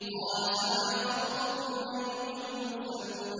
۞ قَالَ فَمَا خَطْبُكُمْ أَيُّهَا الْمُرْسَلُونَ